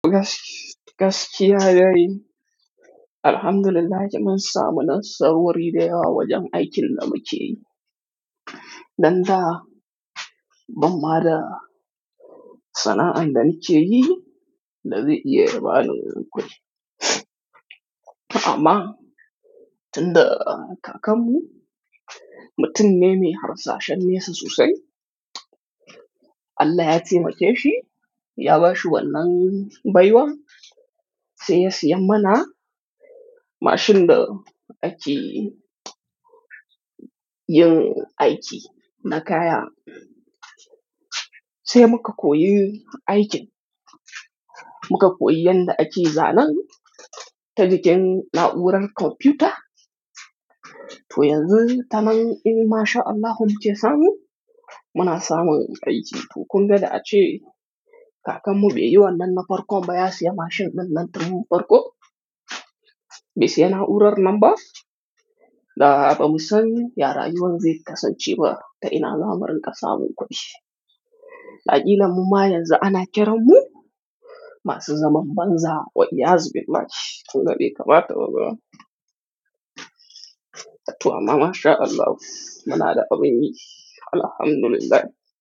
Gaskiya yayi, alhamdulillah mun samu nasarori da yawa wajen aikin da muke yi. Dan da, ban ma da sana'an da nake yi, da zai iya yabani wani kudi. Amma tunda kakanmu, mutum ne mai harsashen nesa sosai. Allah yate make shi, ya bashi wannan baiwa, sai ya syan mana mashin da ake yin aiki na kaya. Sai muka koyi aikin, muka koyi yadda ake zanen ta jikin na'urar kwamfuta. To yanzu, tanan in masha Allah muke samu, muna samun aiki. To kunga da a dace kakanmu bai yi wannan na farkon ba, ya siya mashin ɗinnan tun farko. Bai siya na'urar nan ba, da bamu san ya rayuwan zai kasance ba, ta ina zamu rinƙa samun kuɗi. Da kila mu ma yanzu ana kiranmu, masu zaman banza, wa'yaz binne ma ki. Wannan bai kamata ba ma. Toh amma masha Allah, muna da abun yi, alhamdulillah.